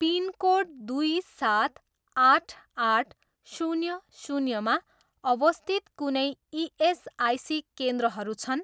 Pin code दुई सात आठ आठ शून्य शून्यमा अवस्थित कुनै इएसआइसी केन्द्रहरू छन्?